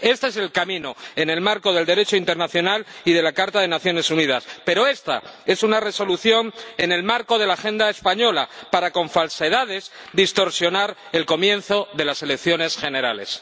Este es el camino en el marco del Derecho internacional y de la Carta de las Naciones Unidas, pero esta es una Resolución en el marco de la agenda española para, con falsedades, distorsionar el comienzo de las elecciones generales.